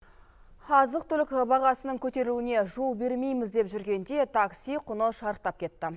азық түлік бағасының көтерілуіне жол бермейміз деп жүргенде такси құны шарықтап кетті